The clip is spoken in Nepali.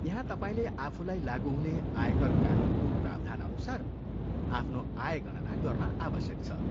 यहाँ तपाईँले आफूलाई लागु हुने आयकर कानुनको प्रावधानअनुसार आफ्नो आय गणना गर्न आवश्यक छ।